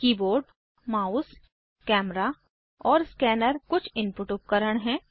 keyboard mouse camera और scanner कुछ input उपकरण हैं